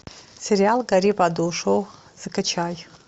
сериал гори в аду шоу закачай